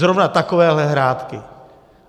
Zrovna takovéhle hrátky!